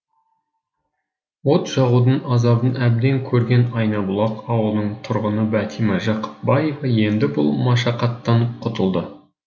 от жағудың азабын әбден көрген айнабұлақ ауылының тұрғыны бәтима жақыпбаева енді бұл машақаттан құтылды